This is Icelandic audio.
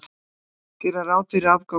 Gera ráð fyrir afgangi af rekstri